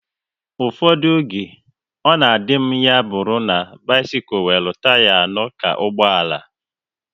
Ụfọdụ oge, ọ na adị m ya bụrụ na bisikul nwere taya anọ ka ụgbọala